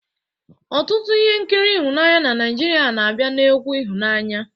Ọtụtụ ihe nkiri ịhụnanya ndị Naijiria na-abịa na egwu ịhụnanya